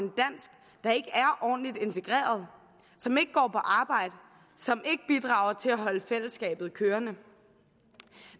ordentligt integreret som ikke går på arbejde som ikke bidrager til at holde fællesskabet kørende